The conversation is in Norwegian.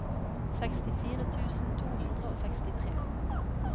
sekstifire tusen to hundre og sekstitre